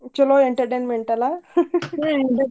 ಚಲೋ entertainment ಅಲ್ಲಾ .